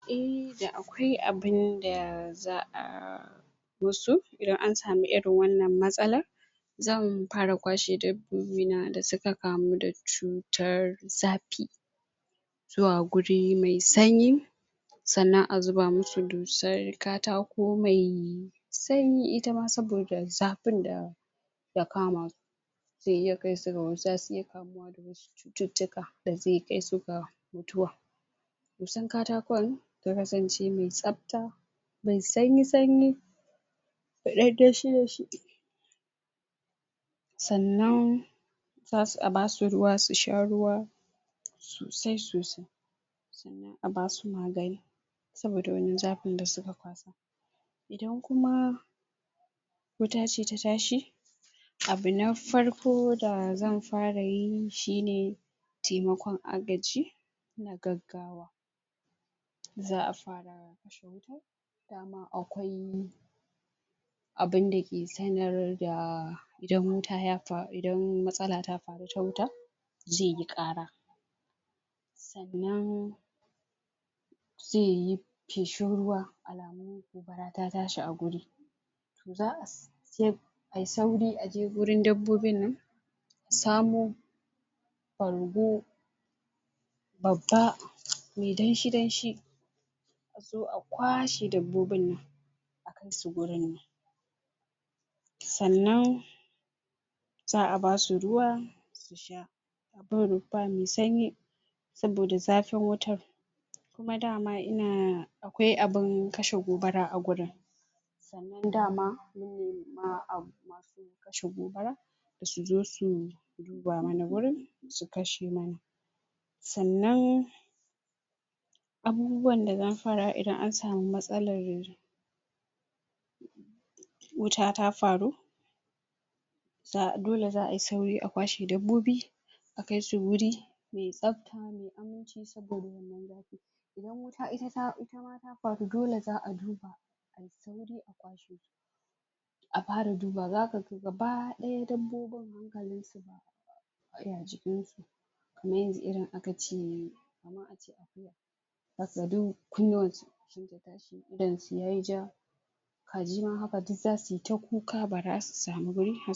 Eh da akwai abunda za’a musu idan an samu irin wannan matsalar. Zan fara kwashe dabbobina da suka kamu da cutar zafi zuwa wuri mai sanyi sannan a zuba musu dusar katako mai sanyi itama saboda zafin da ya kamasu zasu iya kamuwa da wasu cututtuka da zai iya kaisu ga mutuwa. Dusar katakon ta kasance mai tsafta, mai sanyi-sanyi da ɗan danshi-danshi sannan za’a basu ruwa su sha ruwa sosai sosai. Sannan a basu magani saboda wannan zafin da suka kwasa. Idan kuma wuta ce ta tashi, abu na farko da zan farayi shine taimakon agaji na gaggawa. Za’a fara kashe wutar dama akwai abunda yake sanar da idan wuta idan matsala ta faru na wuta zaiyi ƙara sannan zaiyi feshin ruwa alamun gobara ta tashi a wuri. To za’ayi sauri a je wurin dabbobin nan a samo bargo babba mai danshi-danshi a zo a kwashe dabbobin nan akai su wurin nan sannan za’a basu ruwa su sha, abun rufa mai sanyi saboda zafin wutar. Kuma dama ina akwai abun kashe gobara a gurin sannan dama mun nema masu kashe gobara suzo su duba mana wurin su kashe mana. Sannan abubuwan da zan fara idan an samu matsalan wuta ta faru, dole za’a kwashe dabbobi a kaisu wuri mai tsafta mai aminci saboda wannan zafin. Idan wuta itama ta faru dole za’a fara duba ayi sauri a kwashe su a fara duba zakaga gaba ɗaya dabbobin hankalin su baya jikin su kamar yanzu irin akace akuya zakaga kunnuwan su sun tashi idanun su yayi ja kaji ma haka zasuyi ta kuka bazasu samu…